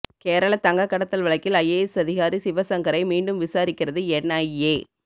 கேரள தங்கக்கடத்தல் வழக்கில் ஐஏஎஸ் அதிகாரி சிவசங்கரை மீண்டும் விசாரிக்கிறது என்ஐஏ